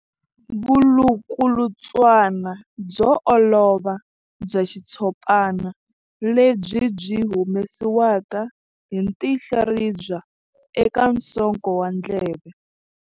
Vulukulutswana byo olova bya xitshopana lebyi byi humesiwaka hi tinhlaribya eka nsoko wa ndleve.